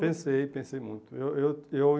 Pensei, pensei muito. Eu eu eu